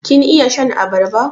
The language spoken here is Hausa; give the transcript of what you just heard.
Kin iya shan abarba?